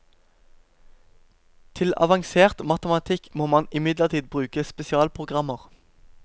Til avansert matematikk må man imidlertid bruke spesialprogrammer.